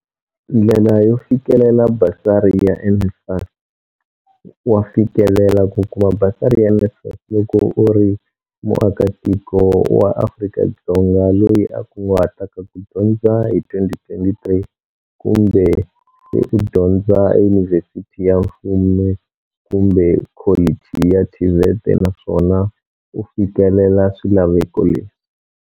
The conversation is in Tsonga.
Ndlela yo fikelela basari ya NSFAS Wa fikelela ku kuma basari ya NSFAS loko u ri muakatiko wa Afrika-Dzonga loyi a kunguhataka ku dyondza hi 2023 kumbe se u dyondza eyunivhesiti ya mfumo kumbe kholichi ya TVET naswona u fikelela swilaveko leswi.